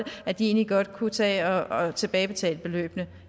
at de egentlig godt kunne tage og tilbagebetale beløbene